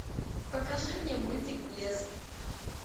покажи мне мультик блеск